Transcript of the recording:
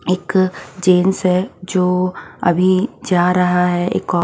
एक जेंट्स है जो अभी जा रहा है ऑफ --